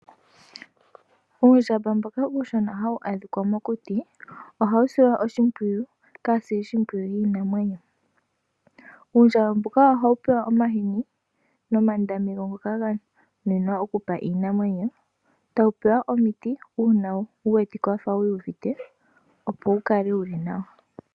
Uundjamba mboka uushona hawu adhika mokuti ohawu silwa oshimpwiyu kaasilishimpwiyu yiinamwenyo. Uundjamba mbuka oha wu pewa omahini nomandami gawo ngoka ga nuninwa okupa iinamwenyo, tawu pewa omiti uuna wu wetike wafa wiiyuvite opo wu kale wuli nawa.